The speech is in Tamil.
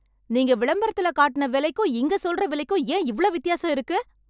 நீங்க விளம்பரத்துல காட்டுன விலைக்கும் இங்க சொல்ற விலைக்கும் ஏன் இவ்வளோ வித்தியாசம் இருக்கு?